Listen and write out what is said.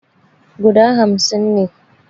Guda hamsin ne